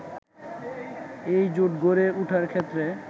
এই জোট গড়ে ওঠার ক্ষেত্রে